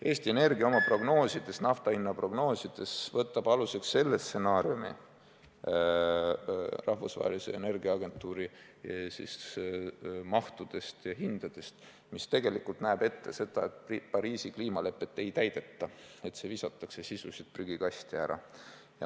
Eesti Energia võtab oma nafta hinna prognoosides aluseks selle stsenaariumi – rahvusvahelise energiaagentuuri mahud ja hinnad –, mis tegelikult näeb ette, et Pariisi kliimalepet ei täideta ja sisuliselt visatakse see prügikasti.